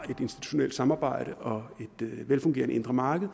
institutionelt samarbejde og et velfungerende indre marked